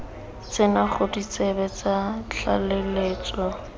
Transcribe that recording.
tsena ga ditsebe tsa tlaleletso